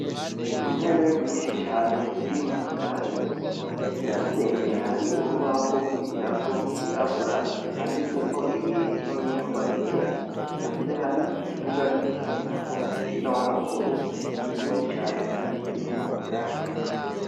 Intebe nyinshi cane ziri mu kirasi. Ikirasi imbere hari urubaho rwo kwigirako rw’irabura; handitseko ibintu n’irwa yera . Hanze hari ikibuga co gukinirako umupira w’amaguru, kinini cane kandi kirimwo ubwatsi.